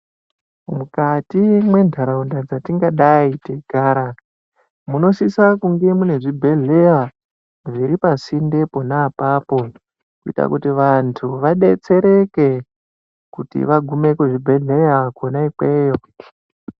Mukati mwenharaunda dzetinga dai teigara, munosisa kunge muine zvibhedhleya zviri pasinde pona apapo kuita kuti vantu vadetsereke kuti vagume kuzvibhedhleya kwena ikweyo.